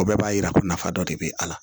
O bɛɛ b'a yira ko nafa dɔ de bɛ a la